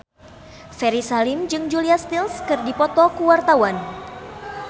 Ferry Salim jeung Julia Stiles keur dipoto ku wartawan